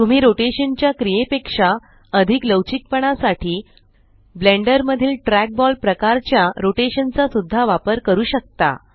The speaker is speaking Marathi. तुम्ही रोटेशन च्या क्रीये पेक्षा अधिक लवचिक पणा साठी ब्लेंडर मधील ट्रॅकबॉल प्रकाराच्या रोटेशन चा सुद्धा वापर करू शकता